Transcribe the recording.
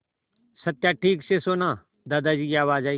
सत्या ठीक से सोना दादाजी की आवाज़ आई